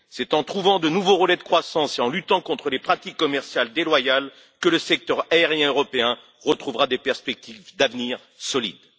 C'est en trouvant de nouveaux relais de croissance et en luttant contre les pratiques commerciales déloyales que le secteur aérien européen retrouvera des perspectives d'avenir solides.